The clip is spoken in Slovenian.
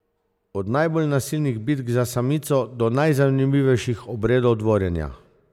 Od najbolj nasilnih bitk za samico do najzanimivejših obredov dvorjenja.